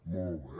molt bé